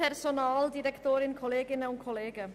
Ich nehme es vorweg: